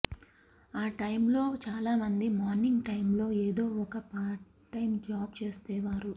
ఆ టైమ్లో చాలా మంది మార్నింగ్ టైమ్లో ఏదో ఒక పార్ట్టైమ్ జాబ్ చేసేవారు